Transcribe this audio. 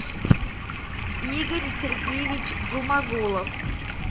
игорь сергеевич джумагулов